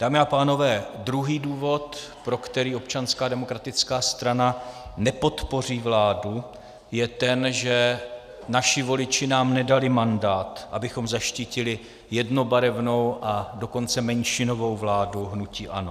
Dámy a pánové, druhý důvod, pro který Občanská demokratická strana nepodpoří vládu, je ten, že naši voliči nám nedali mandát, abychom zaštítili jednobarevnou, a dokonce menšinovou vládu hnutí ANO.